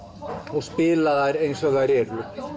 og spila þær eins og þær eru